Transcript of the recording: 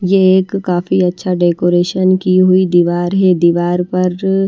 यह एक काफी अच्छा डेकोरेशन की हुई दिवार है दिवार पर जो--